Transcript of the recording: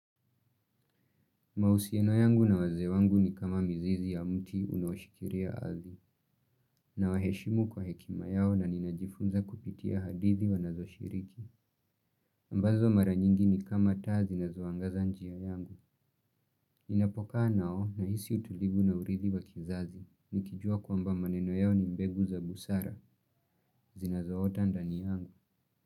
Mahusiano yangu na wazee wangu ni kama mizizi ya mti unaoshikilia ardhi, nawaheshimu kwa hekima yao na ninajifunza kupitia hadithi wanazoshiriki. Ambazo mara nyingi ni kama taa zinazoangaza njia yangu. Ninapokaa nao nahisi utulivu na urithi wa kizazi, nikijua kwamba maneno yao ni mbegu za busara, zinazoota ndani yangu.